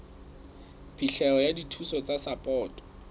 phihlelo ya dithuso tsa sapoto